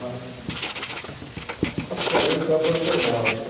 Mas estava praticamente abandonado.